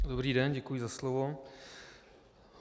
Dobrý den, děkuji za slovo.